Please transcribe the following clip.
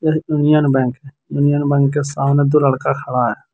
Union Bank Union Bank के सामने दो लड़का खड़ा है।